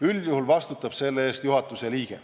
Üldjuhul vastutab selle eest juhatuse liige.